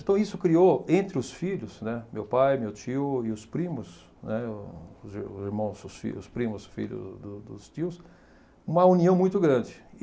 Então isso criou, entre os filhos, né, meu pai, meu tio e os primos, né, os ir o irmão, seus fi, os primos, filhos do dos tios, uma união muito grande.